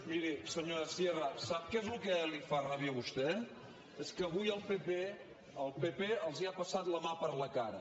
miri senyora sierra sap què és el que li fa ràbia a vostè és que avui el pp el pp els ha passat la mà per la cara